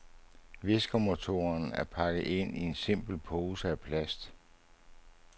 Viskermotoren er pakket ind i en simpel pose af plast.